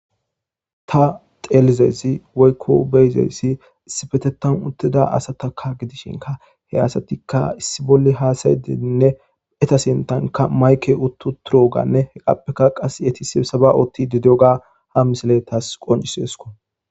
Tha xeellizayssi woykko be7izayssi issipeththan uththida asathakka gidishinkka he asathikka issi bolla haasayishenne etha sinththankka maykee uththuuththiroogaanne hegaappekka qassi ethi sibsabaa ooththiiddi diyoogaa ha misilee thas thas qonccisses koo.